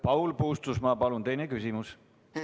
Paul Puustusmaa, palun teine küsimus!